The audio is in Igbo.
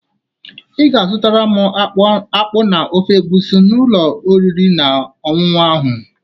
Ị ga azụtara m akpu na ofe egusi n'ụlọ oriri na ọṅụṅụ ahụ